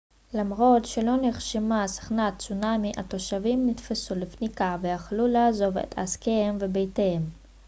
למרות שלא נרשמה סכנת צונמי התושבים נתפסו לפניקה והחלו לעזוב את עסקיהם ובתיהם